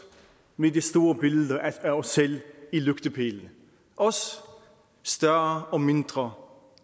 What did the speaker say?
med de store billeder af os selv i lygtepælene os større og mindre